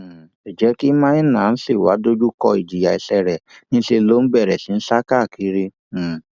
um ǹjẹ kí maina ṣì wàá dojú kọ ìjìyà ẹṣẹ rẹ níṣẹ ló bẹrẹ sí í sá kiri um